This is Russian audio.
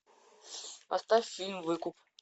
поставь фильм выкуп